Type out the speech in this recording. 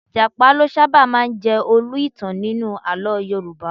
Ìjàpá ló sábà máa ń jẹ olú - ìtàn nínú àlọ́ Yorùbá